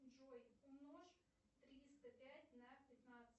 джой умножь триста пять на пятнадцать